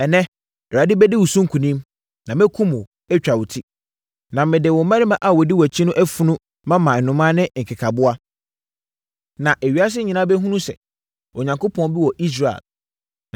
Ɛnnɛ, Awurade bɛdi wo so nkonim, na mɛkum wo, atwa wo ti. Na mede wo mmarima a wɔdi wʼakyi no afunu mama nnomaa ne nkekaboa, na ewiase nyinaa bɛhunu sɛ, Onyankopɔn bi wɔ Israel!